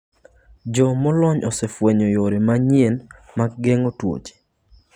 Jo molony osefwenyo yore manyien mag geng'o tuoche